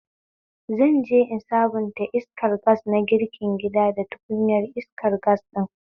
Zanje in sabunta iskar gas na girkin gida da tukunyar iskar gas ɗin